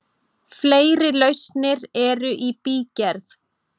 Fleiri lausnir eru í bígerð.